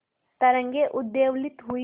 तरंगे उद्वेलित हुई